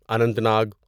Anant Nag